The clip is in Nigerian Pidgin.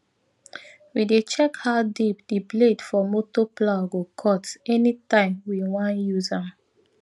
we dey check how deep di blade for motor plough go cut anytime wewan use am